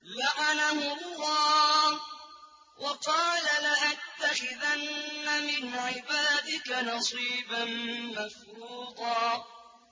لَّعَنَهُ اللَّهُ ۘ وَقَالَ لَأَتَّخِذَنَّ مِنْ عِبَادِكَ نَصِيبًا مَّفْرُوضًا